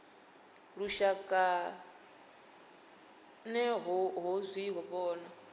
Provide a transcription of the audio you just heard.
lushaka ner ho zwi vhona